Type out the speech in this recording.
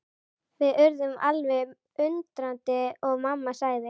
Við urðum alveg undrandi og mamma sagði.